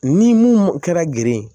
Ni mun kɛra gere ye